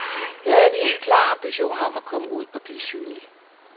Jeg havde en helt klar ambition om at komme ud og blive synlig.